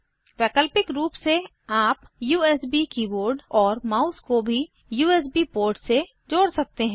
वैकल्पिक रूप से आप यूएसबी कीबोर्ड और माउस को किसी भी यूएसबी पोर्ट से जोड़ सकते हैं